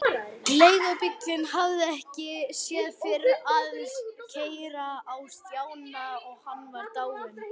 Leigubíllinn hafði ekki fyrr stansað en Stjáni var hlaupinn út.